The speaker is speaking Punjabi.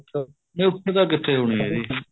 ਨਹੀਂ ਉਥੇ ਤਾਂ ਕਿਥੇ ਹੋਣੀ ਏਹ ਜੀ